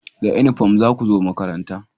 Da inifam za ku zo makaranta!